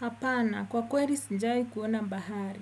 Hapana, kwa kweri sinjai kuona bahari.